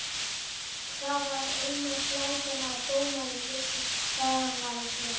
Það var eina glætan að dómarinn vissi hvað hann var að gera.